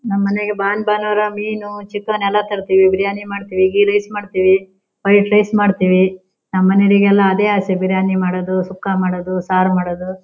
ನಮ್ ಮನೆಗೆ ಭಾನ್ ಭಾನುವಾರ ಮೀನು ಚಿಕನ್ ಎಲ್ಲ ತರ್ತೀವಿ ಬಿರಿಯಾನಿ ಮಾಡ್ತೀವಿ ಗಿ ರೈಸ್ ಮಾಡ್ತೀವಿ ವೈಟ್ ರೈಸ್ ಮಾಡ್ತೀವಿ ನಮ್ ಮನೆಯವರಿಗೆ ಎಲ್ಲ ಅದೇ ಆಸೆ ಬಿರಿಯಾನಿ ಮಾಡೋದು ಸುಕ್ಕ ಮಾಡೋದು ಸಾರ್ ಮಾಡೋದು.